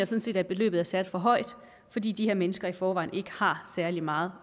set at beløbet er sat for højt fordi de her mennesker i forvejen ikke har særlig meget